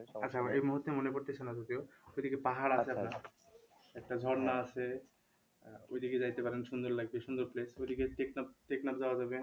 আচ্ছা এই মুহূর্তে মনে পড়তেছে না যদিও একটা ঝর্ণা আছে ওইদিকে যাইতে পারেন সুন্দর লাগবে সুন্দর place